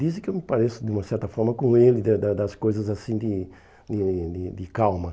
Dizem que eu me pareço, de uma certa forma, com ele, de da das coisas assim de de de calma.